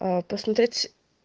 аа посмотреть